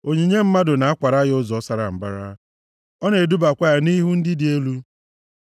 Onyinye mmadụ na-akwara ya ụzọ sara mbara, ọ na-edubakwa ya nʼihu ndị dị elu.